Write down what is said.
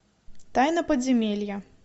тайна подземелья